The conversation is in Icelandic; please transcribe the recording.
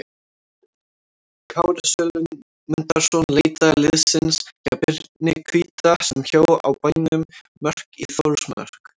Kári Sölmundarson leitaði liðsinnis hjá Birni hvíta sem bjó á bænum Mörk í Þórsmörk.